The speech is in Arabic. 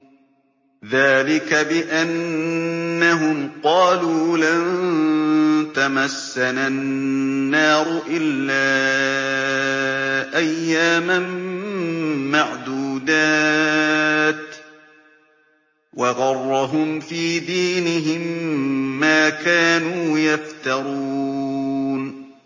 ذَٰلِكَ بِأَنَّهُمْ قَالُوا لَن تَمَسَّنَا النَّارُ إِلَّا أَيَّامًا مَّعْدُودَاتٍ ۖ وَغَرَّهُمْ فِي دِينِهِم مَّا كَانُوا يَفْتَرُونَ